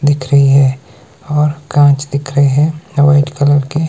दिख रही है और कांच दिख रहे है व्हाइट कलर के--